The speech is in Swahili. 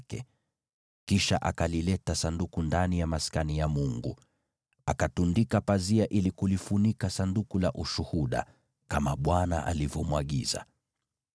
Kisha Mose akalileta Sanduku ndani ya Maskani ya Mungu, akatundika pazia ili kulifunika Sanduku la Ushuhuda, kama Bwana alivyomwagiza.